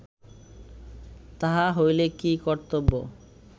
তাহা হইলে কি কর্তব্য